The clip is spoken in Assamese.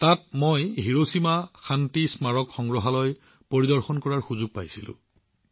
তাত মই হিৰোছিমা শান্তি স্মাৰক সংগ্ৰহালয় পৰিদৰ্শন কৰাৰ সুযোগ পাইছিলো